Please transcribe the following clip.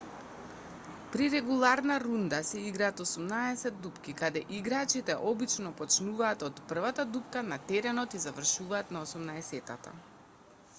при регуларна рунда се играат осумнаесет дупки каде играчите обично почнуваат од првата дупка на теренот и завршуваат на осумнаесеттата